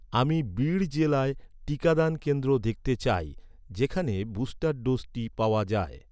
আমি বিড় জেলায় টিকাদান কেন্দ্র দেখতে চাই, যেখানে বুস্টার ডোজটি পাওয়া যায়